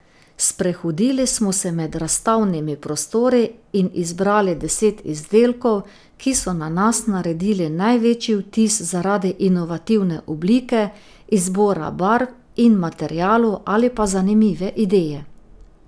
Sprehodili smo se med razstavnimi prostori in izbrali deset izdelkov, ki so na nas naredili največji vtis zaradi inovativne oblike, izbora barv in materialov ali pa zanimive ideje.